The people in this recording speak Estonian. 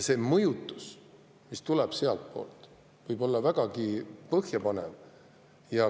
See mõjutus, mis tuleb sealtpoolt, võib olla vägagi põhjapanev.